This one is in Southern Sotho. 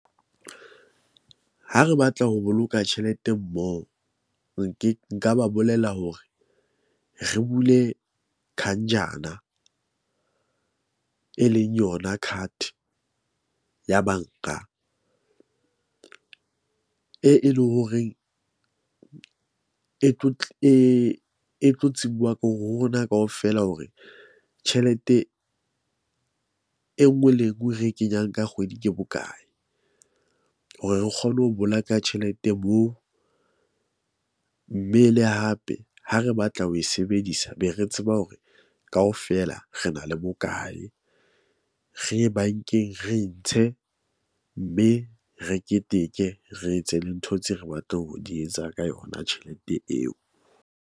Ha re batla ho boloka tjhelete mmoho, nke nka ba bolela hore re bule , e leng yona card ya bank-a, e e leng horeng e tlo e tlo tsebuwa ke hore ho rona kaofela hore tjhelete e nngwe le e nngwe re kenyang ka kgwedi ke bokae. Hore re kgone ho bolaka tjhelete moo. Mme le hape ha re batla ho e sebedisa, be re tseba hore kaofela re na le bokae. Re ye bank-eng, re ntshe mme re keteke, re etse le ntho tse re batla ho di etsa ka yona tjhelete eo.